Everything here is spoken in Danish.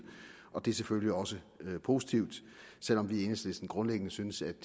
det er selvfølgelig også positivt selv om vi i enhedslisten grundlæggende synes at det